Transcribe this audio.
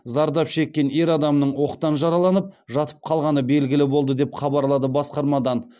зардап шеккен ер адамның оқтан жараланып жатып қалғаны белгілі болды деп хабарлады басқармадан